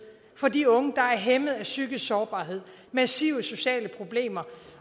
for de unge der er hæmmet af psykisk sårbarhed massive sociale problemer